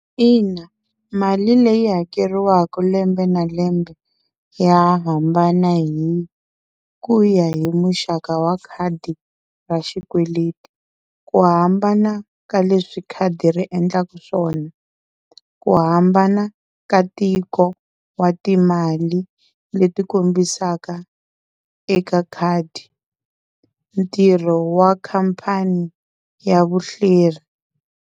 Ina mali leyi hakeriwaka lembe na lembe ya hambana hi ku ya hi muxaka wa khadi ra xikweleti. Ku hambana ka leswi khadi ri endlaka swona, ku hambana ka tiko wa timali leti kombisaka eka khadi ntirho wa khampani ya vuhleri.